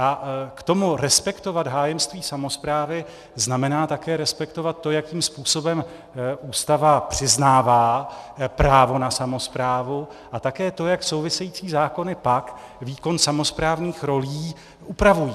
A k tomu respektovat hájemství samosprávy znamená také respektovat to, jakým způsobem Ústava přiznává právo na samosprávu, a také to, jak související zákony pak výkon samosprávných rolí upravují.